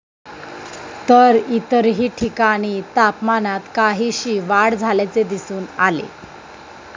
तर इतरही ठिकाणी तापमानात काहीशी वाढ झाल्याचे दिसून आले.